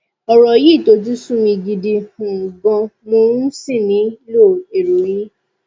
ọ̀rọ̀ yìí tojú sú mi gidi um gan mo um sì nílò èrò yín